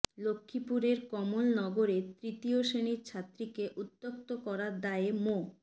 লক্ষ্মীপুরের কমলনগরে তৃতীয় শ্রেণির ছাত্রীকে উত্ত্যক্ত করার দায়ে মো